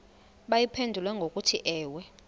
bayiphendule ngokuthi ewe